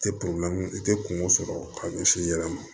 Tɛ i tɛ kungo sɔrɔ ka ɲɛsin i yɛrɛ ma